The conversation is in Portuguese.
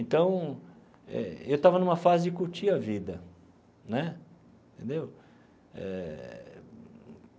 Então, eh eu estava numa fase de curtir a vida né entendeu eh.